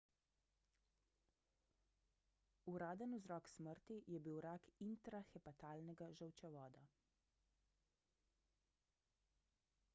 uraden vzrok smrti je bil rak intrahepatalnega žolčevoda